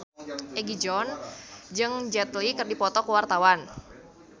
Egi John jeung Jet Li keur dipoto ku wartawan